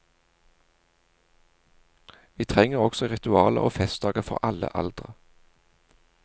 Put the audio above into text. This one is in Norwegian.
Vi trenger også ritualer og festdager for alle aldre.